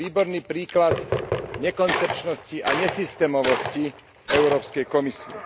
To je výborný príklad nekoncepčnosti a nesystémovosti Európskej komisie.